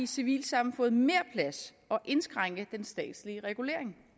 civilsamfundet mere plads og indskrænke den statslige regulering